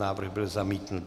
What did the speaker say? Návrh byl zamítnut.